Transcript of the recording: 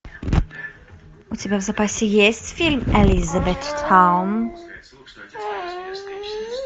у тебя в запасе есть фильм элизабеттаун